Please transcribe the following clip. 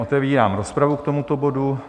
Otevírám rozpravu k tomuto bodu.